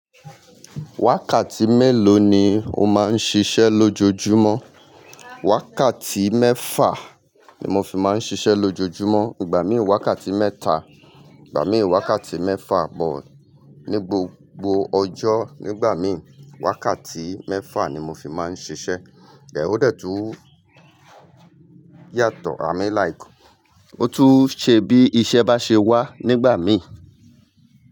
Wákàtí mélòó ni o máa ń ṣiṣẹ́ lójoojúmọ́? Wákàtí mẹ́fà ni mo fi máa ń ṣiṣẹ́ lójoojúmọ́. Ìgbà mí wákàtí mẹ́ta, ìgbà mí wákàtí mẹ́fà, but ní gbogbo ọjọ́, nígbà mí wákàtí mẹ́fà ni mo fi máa ń ṣiṣẹ́. Ẹ̀h ó dẹ̀ tu yàtọ̀, i mean like, ó tún ṣe bí iṣẹ́ bá ṣe wá nígbà mí.